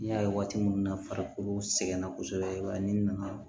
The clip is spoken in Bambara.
N'i y'a ye waati min na farikolo sɛgɛnna kosɛbɛ i b'a ye ni nana